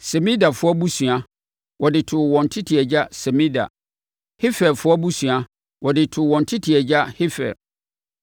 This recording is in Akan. Semidafoɔ abusua, wɔde too wɔn tete agya Semida. Heferfoɔ abusua, wɔde too wɔn tete agya Hefer.